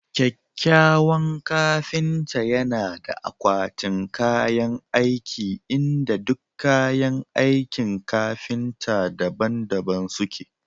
kyakkyawan kafinta yana da akwatin kayan aiki inda duk kayan aikin kafinta daban-daban suke